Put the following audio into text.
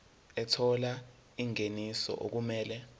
ethola ingeniso okumele